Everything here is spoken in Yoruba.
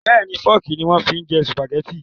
Bẹ́ẹ̀ni Fọ́ọ́kì ni wọ́n fi ń jẹ Sùpàgẹ́tì